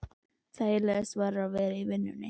Þægilegast var að vera í vinnunni.